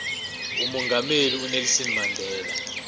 umongameli unelson mandela